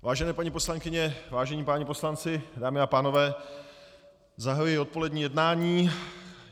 Vážené paní poslankyně, vážení páni poslanci, dámy a pánové, zahajuji odpolední jednání.